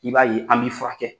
I b'a ye an b'i fura kɛ.